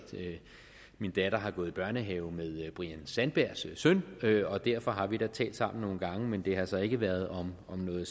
min datter har gået i børnehave med brian sandbergs søn og derfor har vi da talt sammen nogle gange det har så ikke været om noget